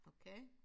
Okay